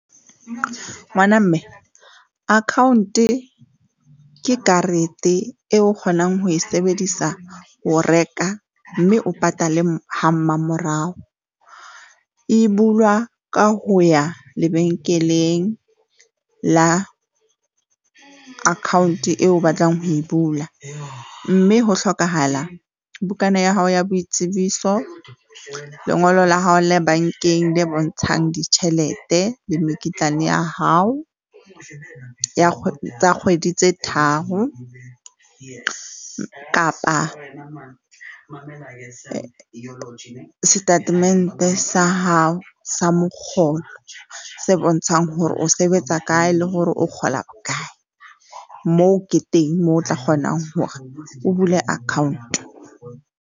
Ngwana mme account-e ke karete eo o kgonang ho e sebedisa ho reka mme o patale ha mmamorao. E bulwa ka ho ya lebenkeleng la account eo o batlang ho e bula mme ho hlokahala bukana ya hao ya boitsebiso, lengolo la hao le bankeng le bontshang ditjhelete le mekitlane ya hao tsa kgwedi tse tharo, kapa setatemente sa hao sa mokgolo se bontshang hore o sebetsa kae le hore o kgola bokae. Moo ke teng moo o tla kgonang hore o bule account.